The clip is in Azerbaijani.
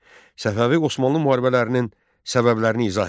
Səfəvi Osmanlı müharibələrinin səbəblərini izah et.